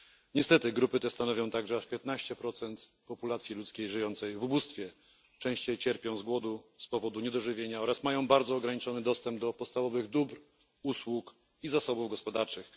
Niestety grupy te stanowią także aż 15 populacji ludzkiej żyjącej w ubóstwie, częściej cierpią wskutek głodu i niedożywienia oraz mają bardzo ograniczony dostęp do podstawowych dóbr, usług i zasobów gospodarczych.